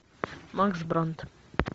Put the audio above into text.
макс брандт